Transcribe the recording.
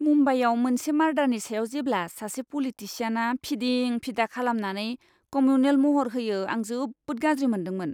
मुम्बाइयाव मोनसे मारडारनि सायाव जेब्ला सासे पलिटिसियानआ फिदिं फिदा खालामनानै कमिउनेल महर होयो आं जोबोद गाज्रि मोनदोंमोन।